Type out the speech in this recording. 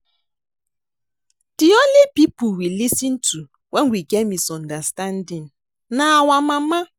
The only people we lis ten to wen we get misunderstanding na our mama